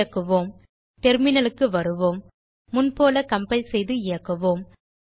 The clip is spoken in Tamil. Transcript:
இயக்குவோம் டெர்மினல் க்கு வருவோம் முன்போல கம்பைல் செய்து இயக்குவோம்